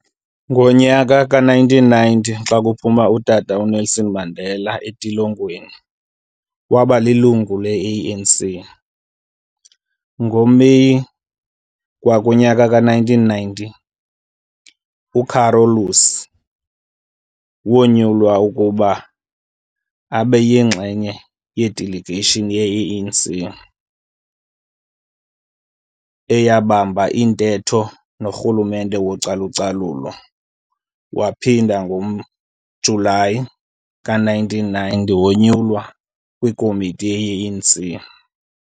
Ngonyaka ka1990 xakuphuma utata uNelson Mandela entilongweni wabalilungu leANC.NgoMeyi kwakunyaka ka-1990,UCarolus wonyulwa ukuba abeyingxenye yeDeligeyishini yeANC eyabamba iintetho noRhulumente wocalucalulo waphinda ngoJulayi ka1991 wonyulwa kwiKomiti yeANC.